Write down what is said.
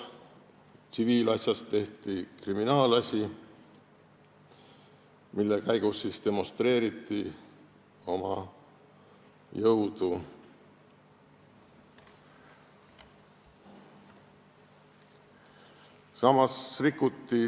Tsiviilasjast tehti kriminaalasi, mille käigus demonstreeriti oma jõudu.